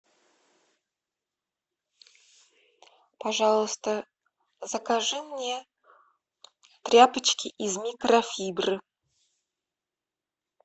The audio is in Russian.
пожалуйста закажи мне тряпочки из микрофибры